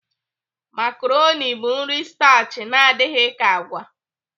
Makaroni bụ nri stachi na-adị ka agwa.